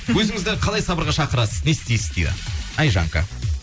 өзіңізді қалай сабырға шақырасыз не істейсіз дейді айжанка